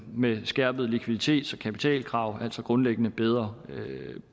med skærpet likviditets og kapitalkrav altså grundlæggende bedre